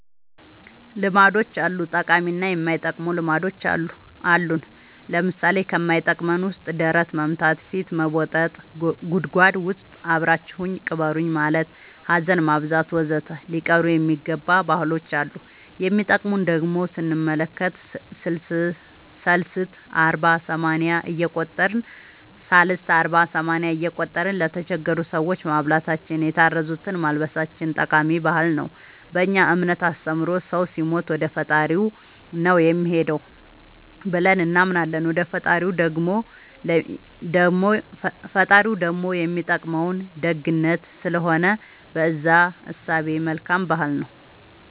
ልማዶች አሉ ጠቃሚ እና የማይጠቅሙ ልማዶች አሉን ለምሳሌ ከማይጠቅመን ውስጥ ደረት መምታ ፊት መቦጠጥ ጉድጎድ ውስጥ አብራችሁኝ ቅበሩኝ ማለት ሀዘን ማብዛት ወዘተ ሊቀሩ የሚገባ ባህሎች አሉ የሚጠቅሙን ደሞ ስንመለከት ሰልስት አርባ ሰማንያ እየቆጠርን ለተቸገሩ ሰዎች ማብላታችን የታረዙትን ማልበሳችን ጠቃሚ ባህል ነው በእኛ እምነት አስተምሮ ሰው ሲሞት ወደፈጣሪው ነው የሚሄደው ብለን እናምናለን ወደ ፈጣሪው ደሞ የሚጠቅመው ደግነት ስለሆነ በእዛ እሳቤ መልካም ባህል ነው